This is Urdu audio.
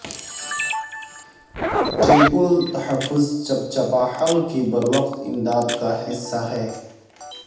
ٹرپل تحفظ چپچپا حلق کی بروقت امداد کا حصہ ہے